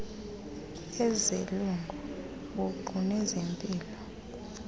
ezelungu buqu nezempilo